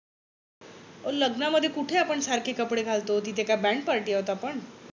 ओ लग्नामध्ये कुठे आपण सारखी कपडे घालतो. तिथे काय band party आहोत आपण.